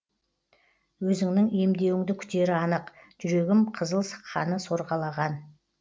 өзіңнің емдеуіңді күтері анық жүрегім қызыл қаны сорғалаған